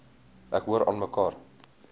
ek hoor aanmekaar